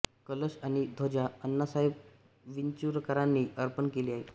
कलश आणि ध्वजा अण्णासाहेब विंचुरकरांनी अर्पण केली आहे